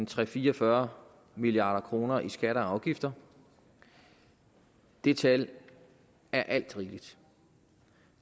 til fire og fyrre milliard kroner i skatter og afgifter det tal er alt rigeligt